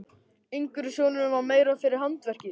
Yngri sonurinn var meira fyrir handverkið.